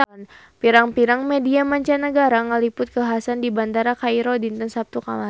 Pirang-pirang media mancanagara ngaliput kakhasan di Bandara Kairo dinten Saptu kamari